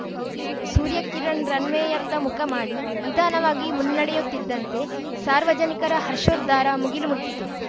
ಸೂರ್ಯಕಿರಣ್‌ ರನ್‌ವೇಯತ್ತ ಮುಖ ಮಾಡಿ ನಿಧಾನವಾಗಿ ಮುನ್ನಡೆಯುತ್ತಿದ್ದಂಥೆ ಸಾರ್ವಜನಿಕರ ಹರ್ಷೋದ್ವಾರ ಮುಗಿಲು ಮುಟ್ಟಿತು